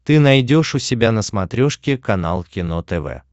ты найдешь у себя на смотрешке канал кино тв